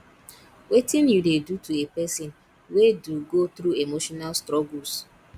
wetin you dey do to a pesin wey do go through emotional struggles